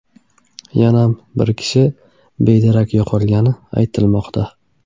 Yana bir kishi bedarak yo‘qolgani aytilmoqda.